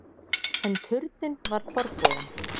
En turninn var forboðinn.